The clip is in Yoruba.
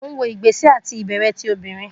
Mo n wo awọn igbesẹ iti ibẹrẹ ti obinrin